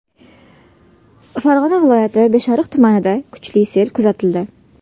Farg‘ona viloyati Beshariq tumanida kuchli sel kuzatildi.